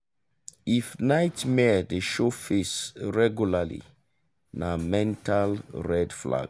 if nightmare dey show face regularly na mental red flag.